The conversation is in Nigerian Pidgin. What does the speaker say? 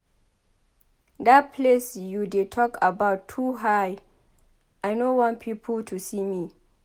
Dat place you dey talk about too high. I know want people to see me.